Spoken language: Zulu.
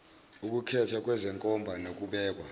ukukhethwa kwezenkomba nokubekwa